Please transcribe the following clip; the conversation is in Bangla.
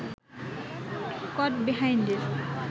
কট বিহাইন্ডের